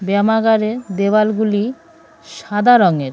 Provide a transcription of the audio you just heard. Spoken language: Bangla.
ব্যায়ামাগারের দেওয়ালগুলি সাদা রঙের।